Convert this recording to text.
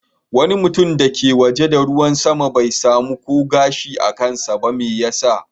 Wani mutum da ke waje da ruwan sama bai samu ko gashi a kansa ba. Me yasa?